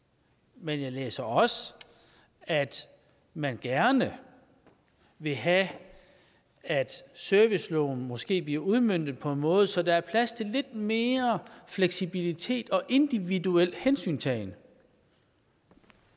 men jeg læser også at man gerne vil have at serviceloven måske bliver udmøntet på en måde så der er plads til lidt mere fleksibilitet og individuel hensyntagen